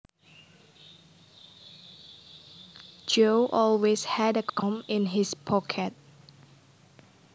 Joe always had a comb in his pocket